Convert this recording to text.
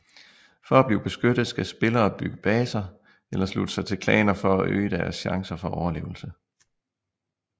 For at blive beskyttet skal spillere bygge baser eller slutte sig til klaner for øge deres chancer for overlevelse